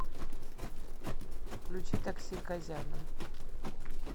включи такси казяна